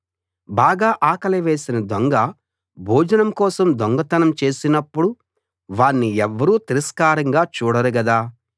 బాగా ఆకలి వేసిన దొంగ భోజనం కోసం దొంగతనం చేసినప్పుడు వాణ్ణి ఎవ్వరూ తిరస్కారంగా చూడరు గదా